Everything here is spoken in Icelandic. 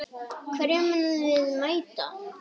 Hverjum munum við mæta??